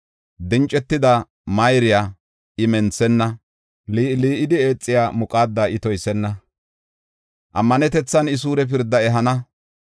Dincetida mayriya I menthenna; lii7i lii7idi eexiya muqaada I toysenna; ammanetethan I suure pirda ehana.